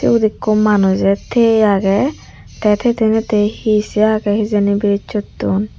siyot ekko manuje thiye agey te tiye teytey he se agey hijeni birozsotun.